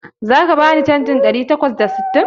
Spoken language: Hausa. Zaka bani canjin ɗari takwas da sittin?